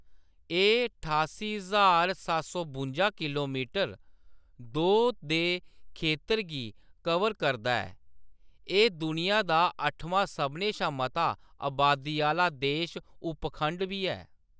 एह्‌‌ ठास्सी ज्हार बुंजा किलोमीटर दो दे खेतर गी कवर करदा ऐ, एह्‌‌ दुनिया दा अट्ठमां सभनें शा मता अबादी आह्‌‌‌ला देश उपखंड बी ऐ।